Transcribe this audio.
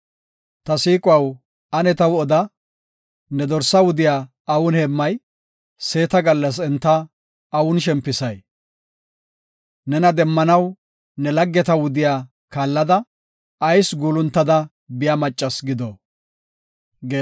Ta siiquwaw, ane taw oda; ne dorsaa wudiya awun heemmay? Seeta gallas enta awun shempisay? Nena demmanaw ne laggeta wudiya kaallada, ayis guuluntada biya maccas gido?